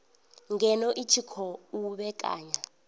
ngeno i tshi khou vhekanya